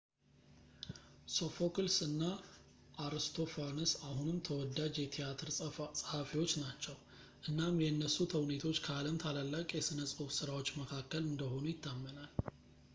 ሶፎክልስ እና አርስቶፋነስ አሁንም ተወዳጅ የትያትር ጸሃፊዎች ናቸው እናም የእነሱ ተውኔቶች ከዓለም ታላላቅ የሥነ-ጽሑፍ ሥራዎች መካከል እንደሆኑ ይታመናል